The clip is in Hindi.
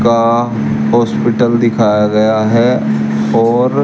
का हॉस्पिटल दिखाया गया है और--